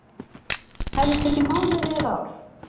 Hefði tekið mánuði eða ár